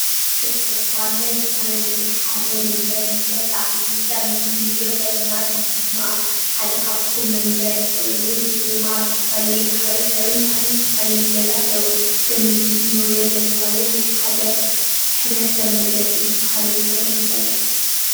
ንማሕበረሰብ ኣድላዪ ዝኮነ ነገር ሓደ መንበሪ ገዛ እዩ:: እዚ ኣብ ምስሊ ንሪኦ ዘለና ድማ ሓደ ካብቶም መንበሪ ኮይኑ እዚ ድማ ኣብ ዝተፈላለየ ማሕበረሰብ ባህልን ዝተፈለዩ ገዛ ኣለዉ እዚ ኣብ ምስሊ ንሪኦ ዘለና እዉን ናይ ሓደ ሕብረተ-ሰብ መግለፂ ዝበሃሉ ዝኮነ መንበሪ እዩ ።